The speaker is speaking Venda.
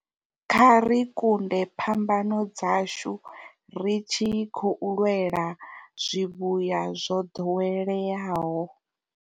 Kha ri kunde phambano dzashu ri tshi khou lwela zwivhuya zwo ḓoweleaho.